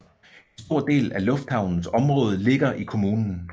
En stor del af lufthavnens område ligger i kommunen